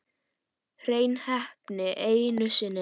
Hrein heppni einu sinni enn.